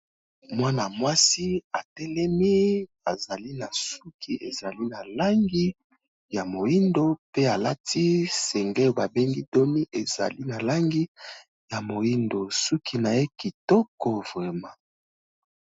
Mwana-mwasi atelemi azali na suki ezali na langi ya moyindo, pe alati singlet oyo ba bengi dos nu ezali na langi ya moyindo suki na ye kitoko vraiment.